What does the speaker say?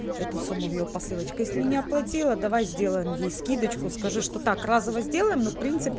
эту сумму её посылочка если не оплатила давай сделаем ей скидочку скажи что так разово сделаем но в принципе